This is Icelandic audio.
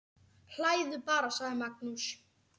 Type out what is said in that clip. Hlæðu bara, sagði Magnús.